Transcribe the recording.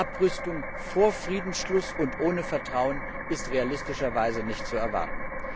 Abrüstung vor Friedensschluss und ohne Vertrauen ist realistischerweise nicht zu erwarten.